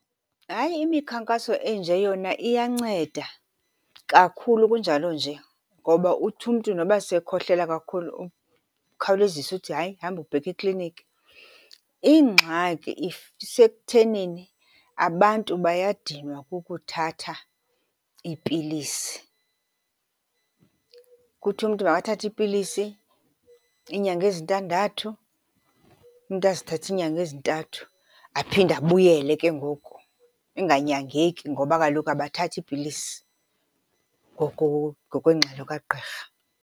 Hayi, imikhankaso enje yona iyanceda, kakhulu kunjalo nje. Ngoba uthi umntu noba sekhohlela kakhulu ukhawulezise uthi hayi, hamba ubheke ekliniki. Ingxaki isekuthenini abantu bayadinwa kukuthatha iipilisi. Kuthiwe umntu makathathe iipilisi iinyanga ezintandathu, umntu azithathe iinyanga ezintathu. Aphinde abuyele ke ngoku inganyangeki ngoba kaloku abathathi iipilisi ngokwengxelo kagqirha.